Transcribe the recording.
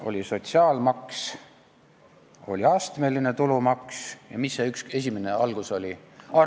Oli sotsiaalmaks, oli astmeline tulumaks ja mis see algus oli?